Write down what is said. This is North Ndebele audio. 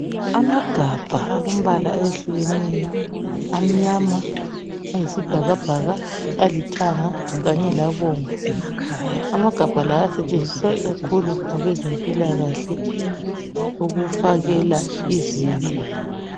Amagabha alombala eyehlukeneyo amanyama, ayisibhakabhaka, alithanga kanye labomvu. Amagabha la asetshenziswa ikakhulu ngabezempilakahle ukufakela izibi.